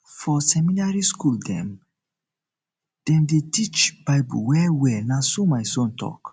for seminary skool dem dey skool dem dey teach bible wellwell na so my son tok